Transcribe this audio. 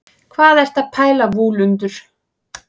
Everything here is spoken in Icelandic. hvað ertu að pæla vúlundur